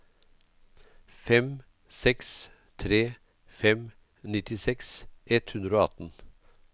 fem seks tre fem nittiseks ett hundre og atten